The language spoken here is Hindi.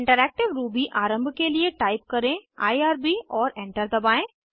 इंटरैक्टिव रूबी आरम्भ के लिए टाइप करें आईआरबी और एंटर दबाएं